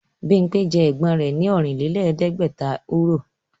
Bímpé jẹ ẹ̀gbọ́n rẹ̀ ní Ọ̀rìnlẹ̀ẹ́dẹ́gbẹ̀ta Euro